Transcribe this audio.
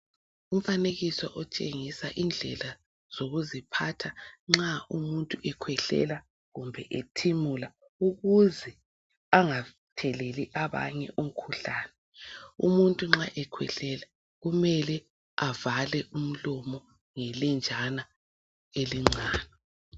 Umfanekiso otshengisa indlela zokuziphatha nxa umuntu ekhwehlela kumbe ethimula ukuze angatheleli abanye umkhuhlane. Umuntu nxa ekhwehlela kumele avale umlomo ngelenjana elincane.